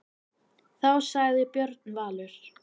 Þá sagði Björn Valur: